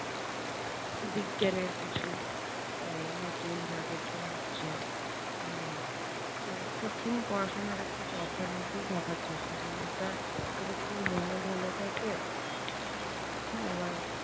বিজ্ঞানের কিছু আহ নতুন যা কিছু হচ্ছে উম । তো সবসময় পড়াশোনাটাকে একটা চর্চার মধ্যেই থাকার চেষ্টা করি। এটা এটার জন্য মনও ভালো থাকে আবার